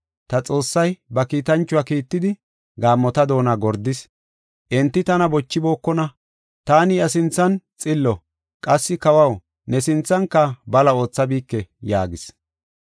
Ta Xoossay ba kiitanchuwa kiittidi, gaammota doona gordis; enti tana bochibookona. Taani iya sinthan xillo; qassi kawaw, ne sinthanka bala oothabike” yaagis.